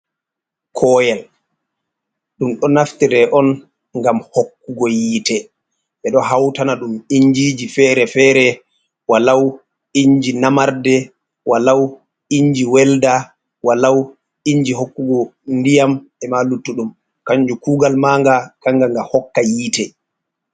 Koyel: Ɗum ɗo naftira on ngam hokkugo yiite ɓeɗo hautana dum injiji fere-fere. Walau inji namarde, walau inji welda, walau inji hokkugo ndiyam, e'ma luttuɗum. Kanju kugal manga kanga nga hokka yiite.